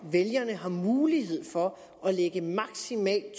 vælgerne har mulighed for at lægge maksimalt